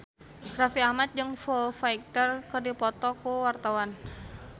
Raffi Ahmad jeung Foo Fighter keur dipoto ku wartawan